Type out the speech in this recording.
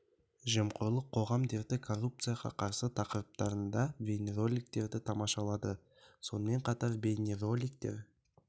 жемқорлық қоғам дерті коррупцияға қарсы тақырыптарында бейнероликтерді тамашалады сонымен қатар бейнероликтер